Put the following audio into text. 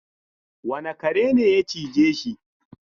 Wane kare ne ya cije shi?